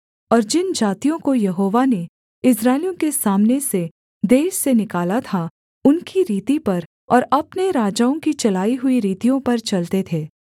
और जिन जातियों को यहोवा ने इस्राएलियों के सामने से देश से निकाला था उनकी रीति पर और अपने राजाओं की चलाई हुई रीतियों पर चलते थे